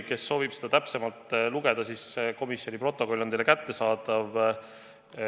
Kes soovib selle kohta täpsemalt lugeda, siis komisjoni protokoll on teile kättesaadav.